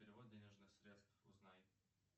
перевод денежных средств узнай